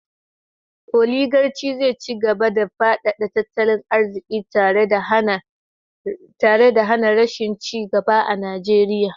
Oligarci zai ci gaba da fadada tattalin arziki tare da hana rashin ci gaba a Najeriya